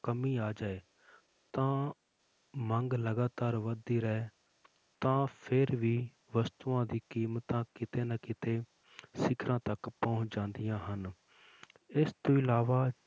ਕਮੀ ਆ ਜਾਏ ਤਾਂ ਮੰਗ ਲਗਾਤਾਰ ਵੱਧਦੀ ਰਹੇ ਤਾਂ ਫਿਰ ਵੀ ਵਸਤੂਆਂ ਦੀ ਕੀਮਤਾਂ ਕਿਤੇ ਨਾ ਕਿਤੇ ਸਿੱਖਰਾਂ ਤੱਕ ਪਹੁੰਚ ਜਾਂਦੀਆਂ ਹਨ ਇਸ ਤੋਂ ਇਲਾਵਾ,